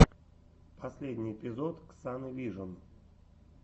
последний эпизод ксаны вижн